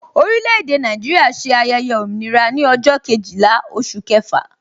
Orile-ede Naijiria ṣe ayẹyẹ òmìnira ní ọjọ́ Kejìlá oṣù kẹfà